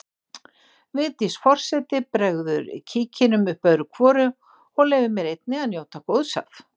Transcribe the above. Vigdís forseti bregður kíkinum upp öðru hvoru og leyfir mér einnig að njóta góðs af.